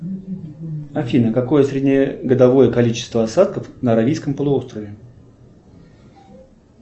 афина какое среднегодовое количество осадков на аравийском полуострове